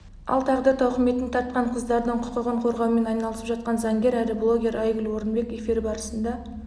ал тағдыр тауқыметін тартқан қыздардың құқығын қорғаумен айналысып жатқан заңгер әрі блогер айгүл орынбек эфир барысында